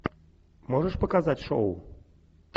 можешь показать шоу